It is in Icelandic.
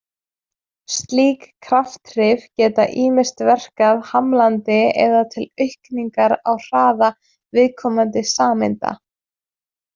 Slík krafthrif geta ýmist verkað hamlandi eða til aukningar á hraða viðkomandi sameinda.